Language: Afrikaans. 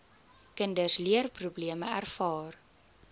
kinders leerprobleme ervaar